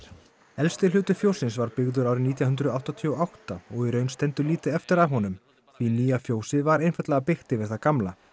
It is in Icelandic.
elsti hluti fjóssins var byggður árið nítján hundruð áttatíu og átta og í raun stendur lítið eftir af honum því nýja fjósið var einfaldlega byggt yfir það gamla